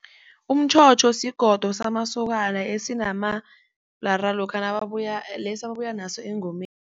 Umtjhotjho sigodo samasokana esinamabhlara lokha lesi ababuyanaso engomeni.